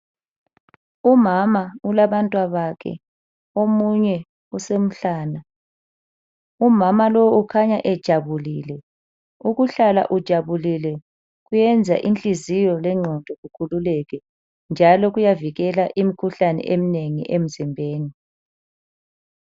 Umama ulabantwabakhe omunye usemhlana umama lowu ukhanya ejabulile ukuhlala ujabulile kuyenza inhliziyo lengqondo kukhululeke njalo kuyavikela imkhuhlane emnengi emzimbeni.